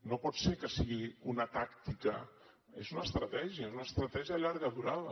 no pot ser que sigui una tàctica és una estratègia és una estratègia de llarga durada